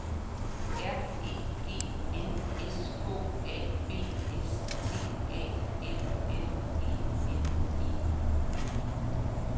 R E G N S K A B S T A L L E N E